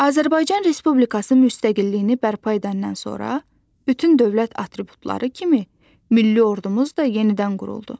Azərbaycan Respublikası müstəqilliyini bərpa edəndən sonra bütün dövlət atributları kimi milli ordumuz da yenidən quruldu.